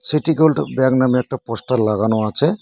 City gold bag নামে একটা poster লাগানো আছে।